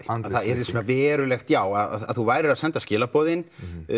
það yrði svona verulegt já að þú værir að senda skilaboðin